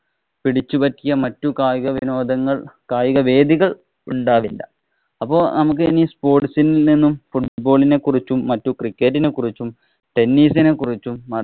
പിടിച്ചു പറ്റിയ മറ്റു കായികവിനോദങ്ങള്‍ കായിക വേദികള്‍ ഉണ്ടാവില്ല. അപ്പൊ നമ്മക്ക് ഇനി sports ഇല്‍ നിന്നും football ഇനെ കുറിച്ചും മറ്റു cricket ഇനെ കുറിച്ചും tennis ഇനെ കുറിച്ചും